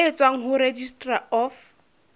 e tswang ho registrar of